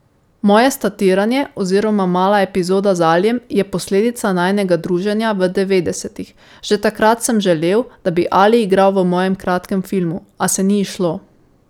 Moje statiranje oziroma mala epizoda z Alijem je posledica najinega druženja v devetdesetih, že takrat sem želel, da bi Ali igral v mojem kratkem filmu, a se ni izšlo.